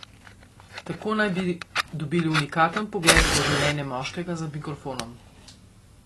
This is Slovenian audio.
Tako naj bi dobili unikaten vpogled v življenje moškega za mikrofonom.